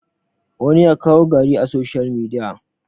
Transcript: wani ya kawo gari a soshiyal midiya